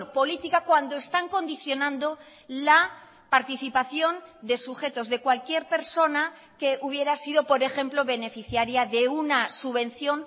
política cuando están condicionando la participación de sujetos de cualquier persona que hubiera sido por ejemplo beneficiaria de una subvención